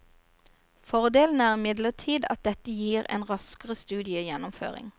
Fordelen er imidlertid at dette gir en raskere studiegjennomføring.